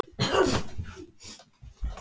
Guð, hvað Lúna getur stundum verið skilningslaus.